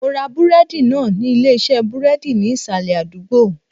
Mo ra búrédì náà ní Ilé isé búrédì ní ìsàlè àdúgbò